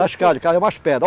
Cascalho umas pedras.